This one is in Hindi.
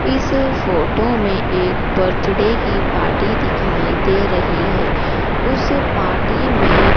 इस फोटो में एक बर्थडे की पार्टी दिखाई दे रही है उस पार्टी में--